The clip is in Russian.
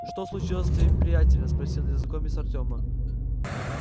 что случилось с твоим приятелем спросил незнакомец артема